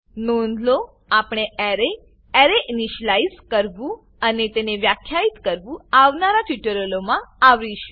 નોંધ લો આપણે એરે એરે ઈનીશલાઈઝ કરવું અને તેને વ્યાખ્યિત કરવું આવનારા ટ્યુટોરીયલોમાં આવરીશું